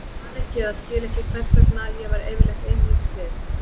Ég man ekki eða skil ekki hvers vegna ég var yfirleitt ein míns liðs.